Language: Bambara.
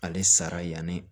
Ale sara yanni